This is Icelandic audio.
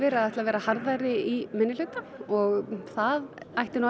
að ætla að vera harðari í minnihluta og það ætti